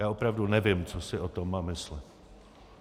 Já opravdu nevím, co si o tom mám myslet.